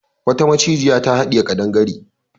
Wata macijiya ta haɗiye kadangare.